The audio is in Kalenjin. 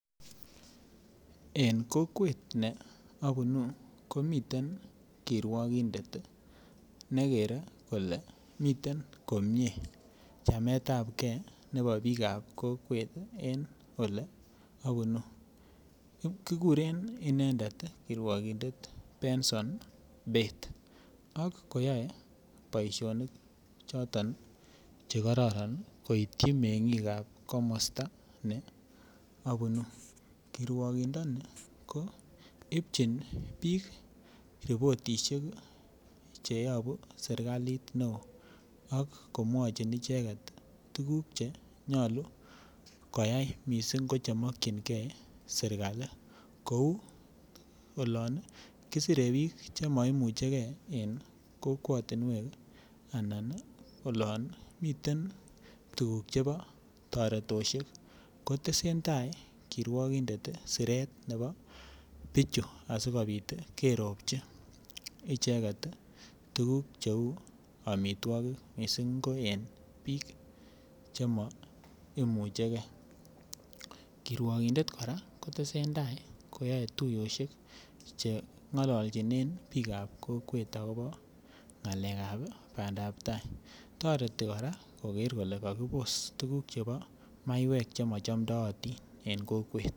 En kokwet en obunuu ko miten kirwokindet ne kere kolee miten komie chametab gee nebo biikab kokwet en ole obunuu, kiguren inendet kirwokindet Benson bett ak koyoe boisionik choton che kororon koityi mengiikab komosto ne obunuu, kirwokindoni ko ibchin ii biik riporishek che yobuu serkalit ne oo ak komwochin icheget tuguk che nyoluu koyay missing che mokyingee sirkali missing ko yon kisire biik che moimuche gee en kokwotinwek anan olo miten tuguk chebo toretoshek ko tesentai kirwokindet ii siret nebo nichu asikopit kerobji icheget tuguk che uu omitwokik missing ko en biik chemo imuche gee kirwokindet koraa ko tesentai koyoe tuyoshek che ngololchinen biikab kokwet akobo ngalekab bandap tai toreti koraa koger kolee kokibos tugukab maiwek che mochomdotin